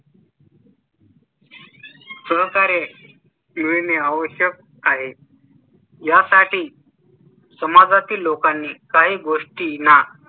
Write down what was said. सहकार्य मिळणे आवश्यक आहे. यासाठी समाजातील लोकांनी काही गोष्टीना